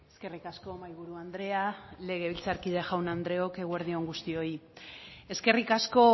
eskerrik asko mahaiburu andrea legebiltzarkide jaun andreok eguerdi on guztioi eskerrik asko